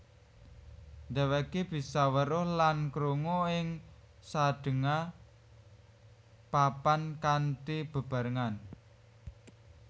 Dhèwèké bisa weruh lan krungu ing sadéngah papan kanthi bebarengan